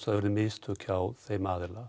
það urðu mistök hjá þeim aðila